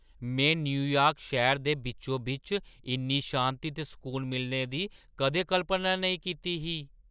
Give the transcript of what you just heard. मैं न्यूयार्क शैह्‌रै दे बिच्चो-बिच्च इन्नी शांति ते सकून मिलने दी कदें कल्पना नेईं कीती ही!